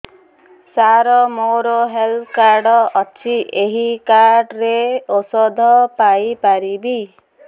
ସାର ମୋର health card ଅଛି ଏହି କାର୍ଡ ରେ ଔଷଧ ପାଇପାରିବି